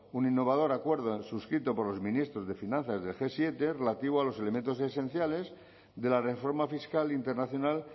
un innovador acuerdo suscrito por los ministros de finanzas del ge siete relativo a los elementos esenciales de la reforma fiscal internacional